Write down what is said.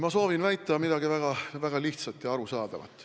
Ma soovin väita midagi väga lihtsat ja arusaadavat.